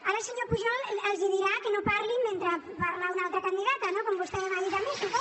ara el senyor pujol els dirà que no parlin mentre parla una altra candidata no com vostè m’ha dit a mi suposo